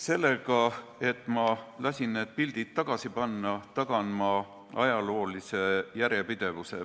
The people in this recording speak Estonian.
Sellega, et ma lasin need pildid tagasi panna, tagan ma ajaloolise järjepidevuse.